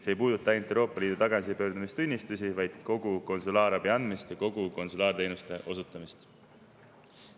See ei puuduta ainult Euroopa Liidu tagasipöördumistunnistusi, vaid kogu konsulaarabi andmist ja kogu konsulaarteenuste osutamist.